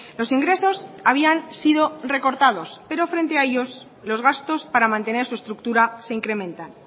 los ingresos habían sido recortados pero frente a ellos los gastos para mantener su estructura se incrementan